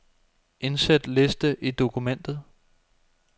Indsæt liste i dokumentet.